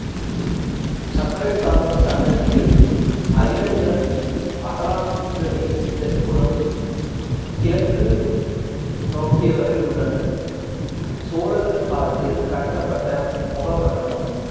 சக்கரத்தாழ்வார் சன்னதியில் அயிலங்க~ அகலாங்கவின் தென்புறம் கிழக்கு நோக்கியவற உள்ளன சோழர்கள் காலத்தில் கட்டப்பட்ட முகமண்டபம்